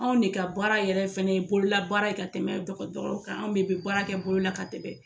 Anw de ka baara yɛrɛ fɛnɛ ye bololabaara ye ka tɛmɛ dɔgɔtɔrɔw kan anw bɛ baara kɛ bolo la ka tɛmɛ.